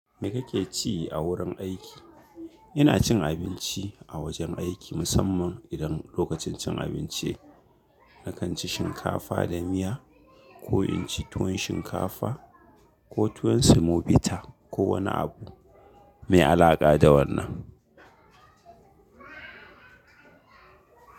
Me kake ci a wurin aiki? Ina cin abinci a wajen aiki musamman idan lokacin cin abinci. Nakan ci shinkafa da miya ko in ci tuwon shinkafa ko tuwon semobita ko wani abu mai alaƙa da wannan.